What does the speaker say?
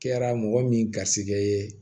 Kɛra mɔgɔ min garisigɛ ye